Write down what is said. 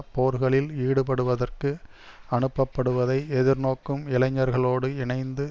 போர்களில் ஈடுபடுவதற்கு அனுப்பப்படுவதை எதிர்நோக்கும் இளைஞர்களோடு இணைந்து